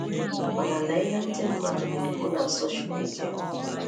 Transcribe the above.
Mànà lee ihe ndị mmadụ na-ekwu na Sọ́shal mídíà.”